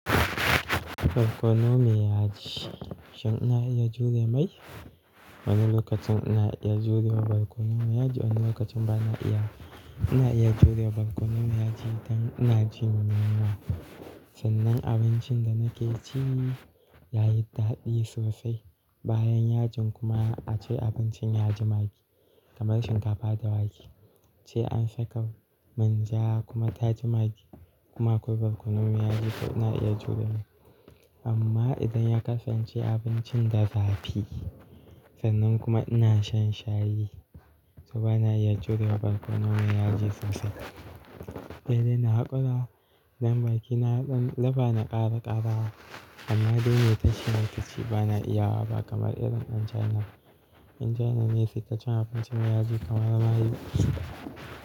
Barkono mai yaji, shin ina iya jure mai? Wani lokacin ina iya jure Barkono mai yaji wani lokacin bana iya. Ina iya jure Barkono mai yaji idan ina jin yunwa. Sannan abincin da nake ci yayi daɗi sosai. Bayan yajin kuma ace abincin yaji maggi kamar shinkafa da wake Ace an saka manja kuma ta ji maggi kuma akwai Barkono mai yaji to ina iya jure mai. Amma idan ya kasance abincin da zafi sannan kuma ina shan shayi to bana iya jure Barkono mai yaji sosai. Sai dai na hakura idan baki na dan lafa na ƙara ƙarawa amma dai mai tace tace bana iya wa ba kamar irin ɗan China. Ba ɗan China ne suka ci abinci mai yaji kamar mayu.